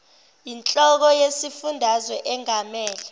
inhloko yesifundazwe engamele